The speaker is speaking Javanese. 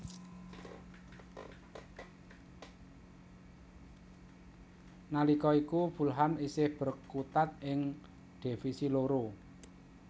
Nalika iku Fulham isih berkutat ing Divisi loro